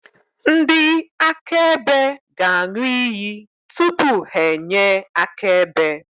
Ndị akaebe ga-aṅụ iyi tupu ha enye akaebe.